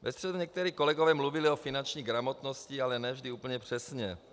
Ve středu někteří kolegové mluvili o finanční gramotnosti, ale ne vždy úplně přesně.